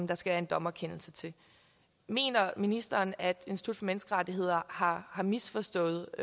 der skal en dommerkendelse til mener ministeren at institut for menneskerettigheder har misforstået